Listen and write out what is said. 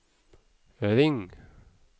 ring